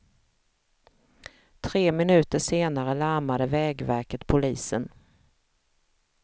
Tre minuter senare larmade vägverket polisen.